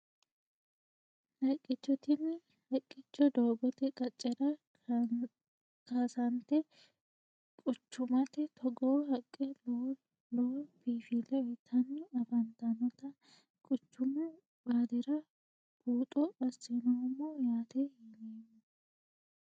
Haqicho tini haqicho doogote qaccera kaasanite quchchumate togoo haqqe lowoo lowo binfile uyitani afantanota quchchummu baalira buuxo asinoomo yaate yinemo.